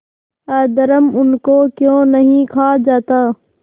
अधर्म उनको क्यों नहीं खा जाता